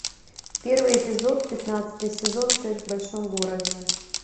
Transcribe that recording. первый эпизод пятнадцатый сезон секс в большом городе